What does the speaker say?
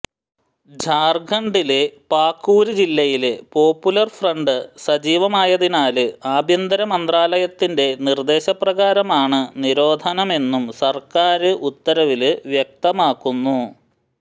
ജാര്ഖണ്ഡിലെ പാക്കുര് ജില്ലയില് popular front സജീവമായാതിനാല് ആഭ്യന്തര മന്ത്രാലയത്തിന്റെ നിര്ദ്ദേശപ്രകാരമാണ് നിരോധനമെന്നും സര്ക്കാര് ഉത്തരവില് വ്യക്തമാക്കുന്നു